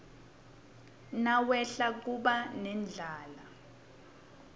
nawehla kuba nendlala